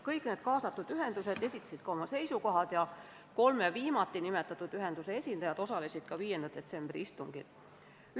Kõik kaasatud ühendused esitasid oma seisukoha ja kolme viimati nimetatud ühenduse esindajad osalesid ka 5. detsembri istungil.